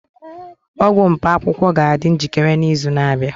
ọgwụ mkpaakwụkwọ ga-adị njikere n'izu na-abịa